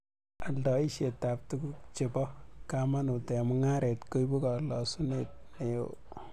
Oldoisietab tuguk che bo kamanut eng mungaret koibu kalosunet ne o